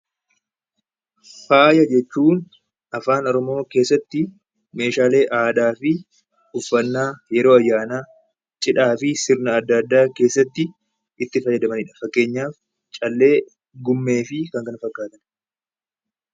Faaya jechuun afaan oromoo keessatti meeshaalee aadaa fi uffannaa yeroo ayyaanaa cidhaa fi sirna adda addaa keessatti itti fayyadamanidha. Fakkeenyaaf callee gumee fi kan kana fakkaatan.